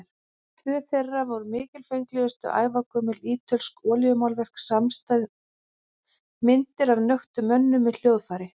Tvö þeirra voru mikilfenglegust, ævagömul ítölsk olíumálverk samstæð, myndir af nöktum mönnum með hljóðfæri.